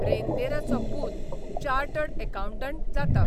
रेंदेराचो पूत chartered accountant जाता.